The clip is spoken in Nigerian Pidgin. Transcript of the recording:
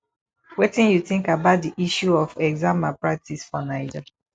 wetin you think about di issue of exam malpractice for naija